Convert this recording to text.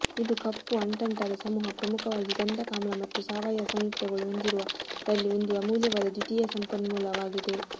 ಇದು ಕಪ್ಪು ಅಂಟಂಟಾದ ಸಮೂಹ ಪ್ರಮುಖವಾಗಿ ಗಂಧಕಾಮ್ಲ ಮತ್ತು ಸಾವಯವ ಸಂಯುಕ್ತಗಳು ಹೊಂದಿರುವ ರಲ್ಲಿ ಒಂದು ಅಮೂಲ್ಯವಾದ ದ್ವಿತೀಯ ಸಂಪನ್ಮೂಲವಾಗಿದೆ